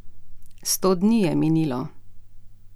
Sto dni je minilo ...